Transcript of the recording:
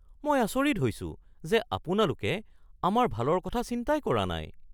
মই আচৰিত হৈছোঁ যে আপোনালোকে আমাৰ ভালৰ কথা চিন্তাই কৰা নাই (প্ৰফেশ্যনেল)